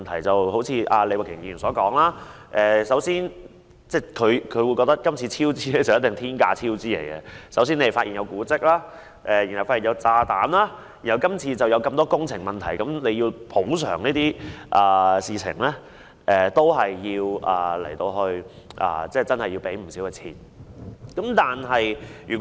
正如李慧琼議員所說，她認為今次工程必定面對天價超支，因為首先是發現古蹟，然後便發現有炸彈，及後出現許多工程問題，牽涉補償事宜，要支付的數額確實不少。